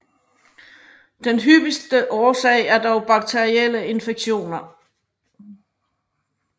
Den hyppigste årsag er dog bakterielle infektioner